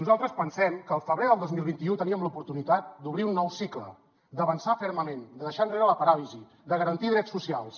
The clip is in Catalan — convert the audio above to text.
nosaltres pensem que al febrer del dos mil vint u teníem l’oportunitat d’obrir un nou cicle d’avançar fermament de deixar enrere la paràlisi de garantir drets socials